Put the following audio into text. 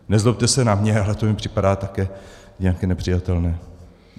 Nezlobte se na mě, ale to mně připadá také nějaké nepřijatelné.